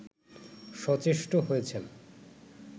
সচেষ্ট হয়েছেন